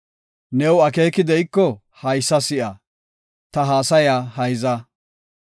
“New akeeki de7iko haysa si7a; ta haasaya hayza.